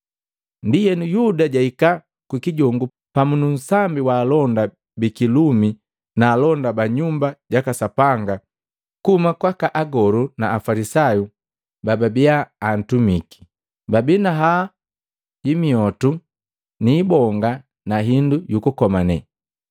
Ndienu, Yuda jahika kukijongu pamu nu nsambi wa alonda bikilumi na alonda ba Nyumba jaka Sapanga kuhuma kwaka Agolu na Afalisayu bababia baatumiki, babii na haya ya miotu ni ibonga na hindu yukukomane.